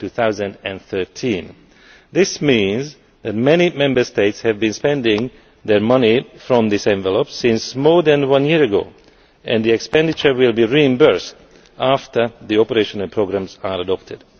2013. This means that many Member States have been spending their money from this envelope for more than a year and the expenditure will be reimbursed after the operational programmes are adopted.